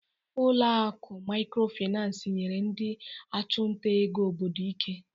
Ụlọ akụ Microfinance nyere ndị ọchụnta ego obodo ike.